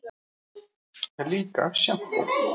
Líka sjampó.